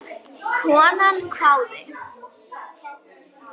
Konan hváði.